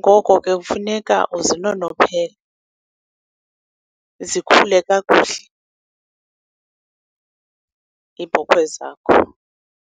Ngoko ke kufuneka uzinonophele, zikhule kakuhle iibhokhwe zakho.